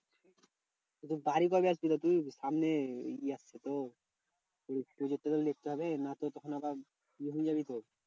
তুই সামনে ইয়ে আসছে তো project টা তো লিখতে হবে নচেৎ তখন আবার ইয়ে হয়ে জাবি তো।